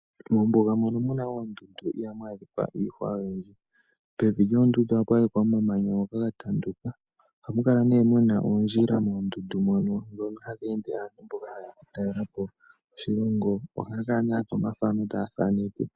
Mombuga mono mu na oondundu iha mu adhikwa iihwa oyindji. Pevi lyoondundu oha pu adhikwa omamanya ngoka ga tanduka. Oha mu kala ne mu na oondjila moondundu mono, ndhono hamu ende aantu mboka ha ye ya oku talela po oshilongo. Ohaa kala ne ya tya omathano taa thaneke .